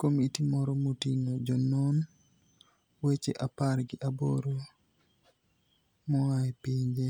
Komiti moro moting'o jonon weche apar gi aboro moa e pinje